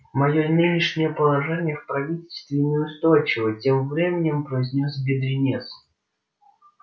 моё нынешнее положение в правительстве неустойчиво тем временем произнёс бедренец